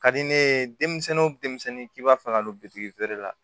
Ka di ne ye denmisɛnnin k'i b'a fɛ ka don feere la